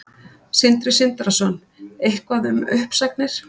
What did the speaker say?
Sindri Sindrason: Eitthvað um uppsagnir?